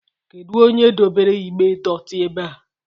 Kedu onye dobere igbe dotii ebea?